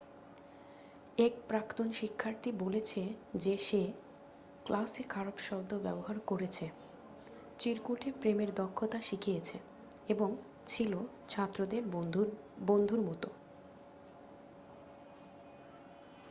এক প্রাক্তন শিক্ষার্থী বলেছে যে সে 'ক্লাসে খারাপ শব্দ ব্যবহার করেছে চিরকুটে প্রেমের দক্ষতা শিখিয়েছে এবং ছিল ছাত্রদের বন্ধুর মত।'